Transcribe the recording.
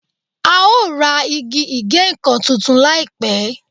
A o ra igi ìgéǹkan tuntun láìpẹ́.